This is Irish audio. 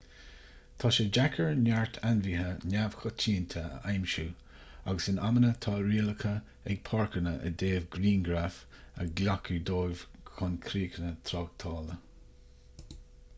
tá sé deacair neart ainmhithe neamhchoitianta a aimsiú agus in amanna tá rialacha ag páirceanna i dtaobh grianghraif a ghlacadh dóibh chun críocha tráchtála